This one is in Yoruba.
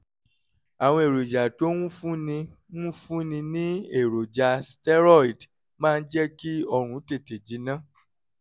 àwọn èròjà tó ń fúnni ń fúnni ní èròjà steroid máa ń jẹ́ kí ọrùn tètè jinná